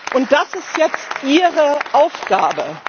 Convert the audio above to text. Und das ist jetzt Ihre Aufgabe.